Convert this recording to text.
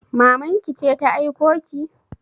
Maman ki ce ta aiko ki?